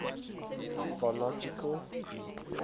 mythological greek archers